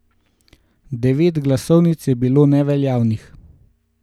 Devet glasovnic je bilo neveljavnih.